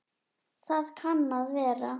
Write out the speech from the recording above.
Það kann að vera